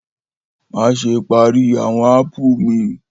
Maṣe pari awọn apu mi!